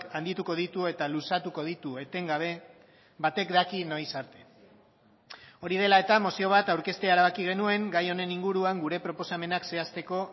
handituko ditu eta luzatuko ditu etengabe batek daki noiz arte hori dela eta mozio bat aurkeztea erabaki genuen gai honen inguruan gure proposamenak zehazteko